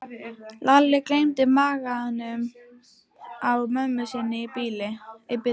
Lalli gleymdi maganum á mömmu sinni í bili.